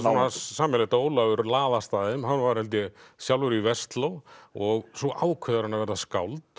sameiginlegt að Ólafur laðast að þeim hann var held ég sjálfur í Versló og svo ákveður hann að verða skáld